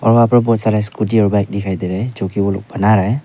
और वहां पर बहुत सारी स्कूटी और बाइक दिखाई दे रहे हैं जो कि वह लोग बना रहे हैं।